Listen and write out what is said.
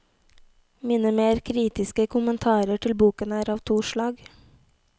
Mine mer kritiske kommentarer til boken er av to slag.